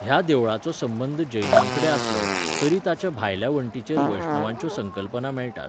ह्या देवळाचो संबंद जैनांकडेन आसलो, तरी ताच्या भायल्या वण्टींचेर वैष्णवांच्यो संकल्पना मेळटात.